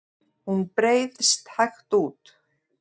Hún breiðst hægt út.